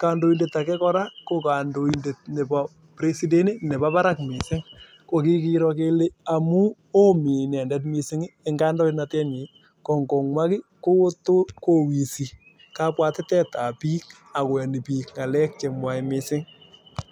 Kandoindet age kora ko kandoindet nepo President , kandoindet nepo parak missing'. Ko kikiro kele amu oo mi inendet missing' eng' kandoinatetnyi kongomwa ki kowissi.